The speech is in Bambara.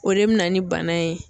O de bɛ na ni bana ye.